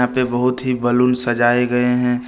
वे बहुत ही बैलून सजाए गए है।